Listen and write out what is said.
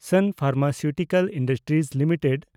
ᱥᱟᱱ Pharmaceutical Industries limited